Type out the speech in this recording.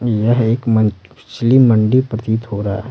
यह एक मंचली मंडी प्रतीत हो रहा है।